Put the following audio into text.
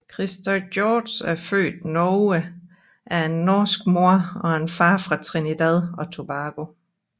Christer George er født Norge af en norsk mor og en far fra Trinidad og Tobago